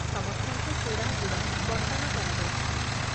ସମସ୍ତଙ୍କୁ ଚୂଡ଼ା ଗୁଡ଼ ବଣ୍ଟନ କରାଯାଇଛି ।